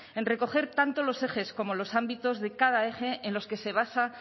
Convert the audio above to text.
en recoger tanto los ejes como los ámbitos de cada eje en los que se basa